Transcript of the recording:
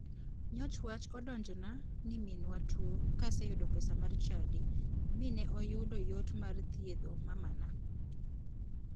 Nyoch wach odonjona ni minwa tuo ka aseyudo pesa mar chadi mi ne oyudo yot mar thiedho mamana.